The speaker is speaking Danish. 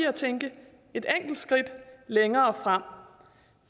at tænke et enkelt skridt længere frem